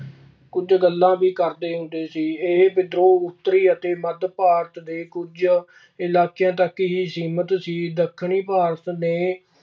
ਕੁਝ ਗੱਲਾਂ ਵੀ ਕਰਦੇ ਹੁੰਦੇ ਸੀ। ਇਹ ਵਿਦਰੋਹ ਉੱਤਰੀ ਅਤੇ ਮੱਧ ਭਾਰਤ ਦੇ ਕੁਝ ਇਲਾਕਿਆਂ ਤੱਕ ਹੀ ਸੀਮਿਤ ਸੀ। ਦੱਖਣੀ ਭਾਰਤ ਨੇ